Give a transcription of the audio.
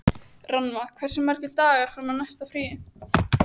Rannva, hversu margir dagar fram að næsta fríi?